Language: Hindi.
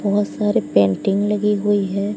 बहोत सारे पेंटिंग लगी हुई है।